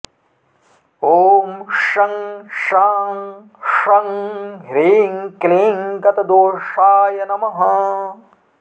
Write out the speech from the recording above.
ॐ शं शां षं ह्रीं क्लीं गतदोषाय नमः